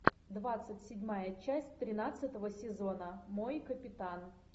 двадцать седьмая часть тринадцатого сезона мой капитан